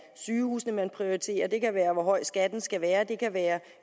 sygehusene man prioriterer det kan være hvor høj skatten skal være det kan være